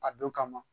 A don kama